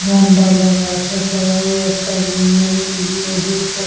ঝান্ডা লাগা আছে সবাই একটা লে লে লেডিস -তে--